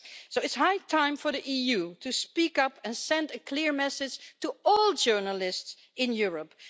So it's high time for the EU to speak up and send a clear message to all journalists in Europe.